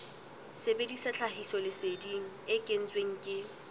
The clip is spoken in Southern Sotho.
sebedisa tlhahisoleseding e kentsweng ke